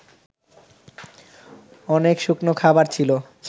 অনেক শুকনো খাবার ছিল